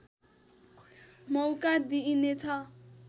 मौका दिइनेछ